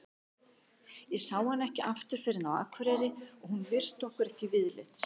Við sáum hana ekki aftur fyrr en á Akureyri og hún virti okkur ekki viðlits.